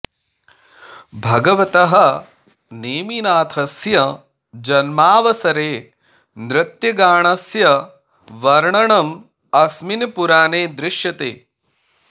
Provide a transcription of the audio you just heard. भगवतः नेमिनाथस्य जन्मावसरे नृत्यगानस्य वर्णनम् अस्मिन् पुराणे दृश्यते